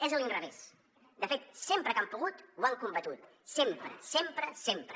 és a l’inrevés de fet sempre que han pogut ho han combatut sempre sempre sempre